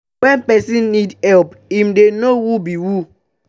na when persin need help im de know who be who